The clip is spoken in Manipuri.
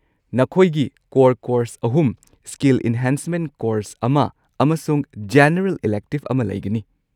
ꯅꯈꯣꯏꯒꯤ ꯀꯣꯔ ꯀꯣꯔꯁ ꯑꯍꯨꯝ , ꯁ꯭ꯀꯤꯜ ꯢꯟꯍꯦꯟꯁꯃꯦꯟꯠ ꯀꯣꯔꯁ ꯑꯃ , ꯑꯃꯁꯨꯡ ꯖꯦꯅꯔꯦꯜ ꯏꯂꯦꯛꯇꯤꯕ ꯑꯃ ꯂꯩꯒꯅꯤ꯫